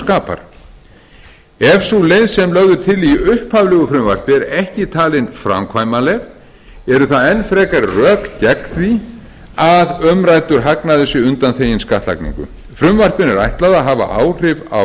skapar ef sú leið sem lögð er til í upphaflegu frumvarpi er ekki talin framkvæmanleg eru það enn frekari rök gegn því að umræddur hagnaður sé undanþeginn skattlagningu frumvarpinu er ætlað að hafa áhrif á